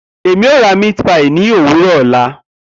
Emi o ra meat pie ni owuro ọla.